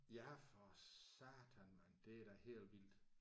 Ja for satan mand. Det er da helt vildt